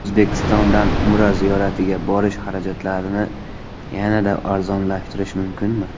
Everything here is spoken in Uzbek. O‘zbekistondan Umra ziyoratiga borish xarajatlarini yanada arzonlashtirish mumkinmi?